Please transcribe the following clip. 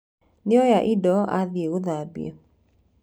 Nĩoya indo athiĩ gũthambia.